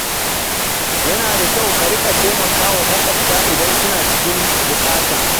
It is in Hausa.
Yana da kyau a riƙa taimakawa maƙwabta idan suna cikin buƙata.